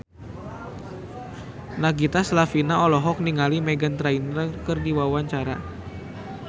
Nagita Slavina olohok ningali Meghan Trainor keur diwawancara